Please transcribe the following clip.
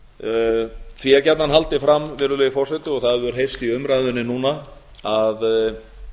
því er gjarnan haldið fram virðulegi forseti og það hefur heyrst í umræðunni núna að